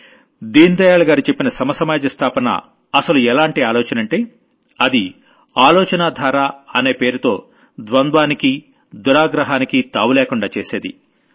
దీన్ దయాళ్ గారు చెప్పిన సమసమాజ స్థాపన అసలు ఎలాంటి ఆలోచనంటే అది ఆలోచనా ధార అనే పేరుతో ద్వంద్వానికి దురాగ్రహానికి తావు లేకుండా చేసేది